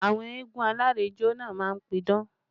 Àwọn eégún alárìnjó náà má ń pidán